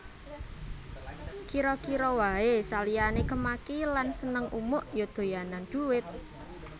Kira kira wae saliyane kemaki lan seneng umuk ya doyanan dhuwit